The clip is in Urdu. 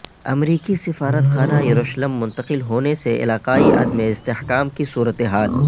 امریکی سفارت خانہ یروشلم منتقل ہونے سے علاقائی عدم استحکام کی صورتحال